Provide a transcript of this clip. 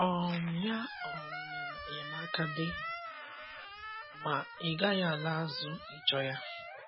um Ya um mere enyemaka dị, ma ị gaghị ala azụ ịchọ ya.